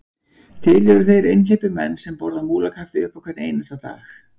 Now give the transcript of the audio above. Til eru þeir einhleypir menn sem borða á Múlakaffi upp á hvern einasta dag.